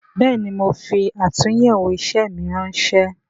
Bẹẹni, mo fi atunyewo isẹ mi ránsẹ́